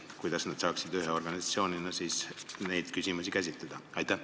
Kuidas nad saaksid ühe organisatsioonina neid küsimusi käsitleda?